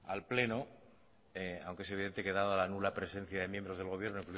el pleno aunque es evidente que dada la nula presencia de miembros del gobierno